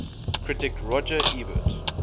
critic roger ebert